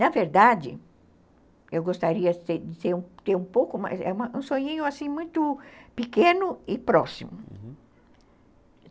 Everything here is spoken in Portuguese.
Na verdade, eu gostaria de ter um pouco mais... É um sonhinho muito pequeno e próximo.